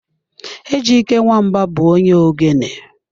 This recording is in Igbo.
Ejyke Nwamba bụ onye ogene.